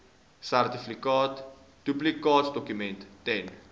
sertifikaat duplikaatdokument ten